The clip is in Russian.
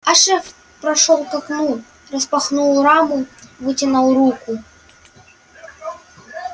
а шеф прошёл к окну распахнул раму вытянул руку